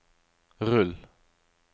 rull